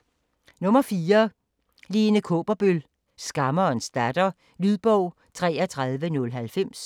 4. Kaaberbøl, Lene: Skammerens datter Lydbog 33090